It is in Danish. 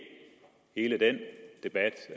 hele den debat